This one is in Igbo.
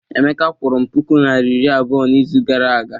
Emeka kwụrụ m puku naira iri abụọ n'izu gara aga.